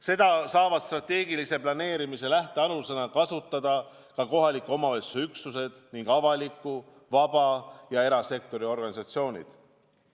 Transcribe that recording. Seda saavad strateegilise planeerimise lähtealusena kasutada ka kohaliku omavalitsuse üksused ning avaliku, vaba- ja erasektori organisatsioonid.